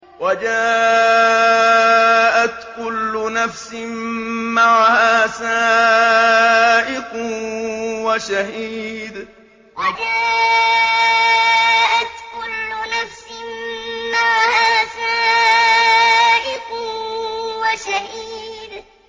وَجَاءَتْ كُلُّ نَفْسٍ مَّعَهَا سَائِقٌ وَشَهِيدٌ وَجَاءَتْ كُلُّ نَفْسٍ مَّعَهَا سَائِقٌ وَشَهِيدٌ